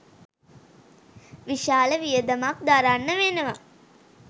විශාල වියදමක් දරන්න වෙනවා